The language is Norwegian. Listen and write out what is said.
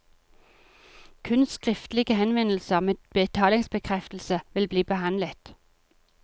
Kun skriftlige henvendelser med betalingsbekreftelse vil bli behandlet.